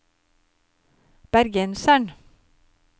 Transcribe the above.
bergenseren